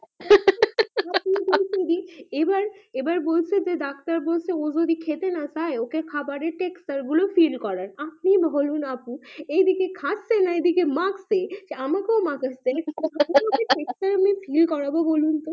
এবার এবার বলছে যে ডাক্তার বলছে ও যদি খেতে না চাই ওকে খাবার এ ফীল করান এই দিকে খাচ্ছে না মাখছে আমাকে ও মাখাছে হা হা হা কি করাবো বলুন তো